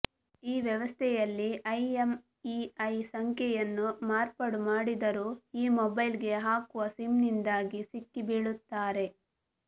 ಈ ವ್ಯವಸ್ಥೆಯಲ್ಲಿ ಐಎಂಇಐ ಸಂಖ್ಯೆಯನ್ನು ಮಾರ್ಪಾಡು ಮಾಡಿದರೂ ಈ ಮೊಬೈಲ್ಗೆ ಹಾಕುವ ಸಿಮ್ನಿಂದಾಗಿ ಸಿಕ್ಕಿಬೀಳುತ್ತಾರೆ